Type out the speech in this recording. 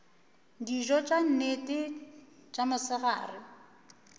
dijo tša nnete tša mosegare